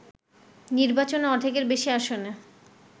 নির্বাচনে অর্ধেকের বেশি আসনে